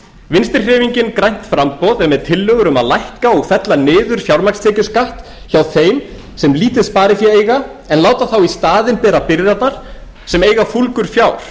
vinstri hreyfingin grænt framboð er með tillögur um að lækka og fella niður fjármagnstekjuskatt hjá þeim sem lítið sparifé eiga en láta en láta þá í staðin bera byrðarnar sem eiga fúlgur fjár